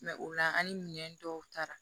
o la an ni minɛn dɔw taara